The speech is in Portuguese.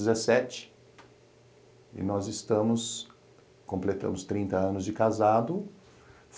dezessete e nós estamos, completamos trinta anos de casado.